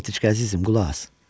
Netiçka əzizim, qulaq as.